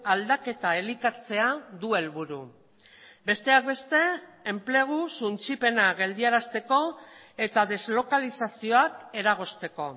aldaketa elikatzea du helburu besteak beste enplegu suntsipena geldiarazteko eta deslokalizazioak eragozteko